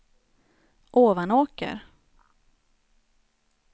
Ovanåker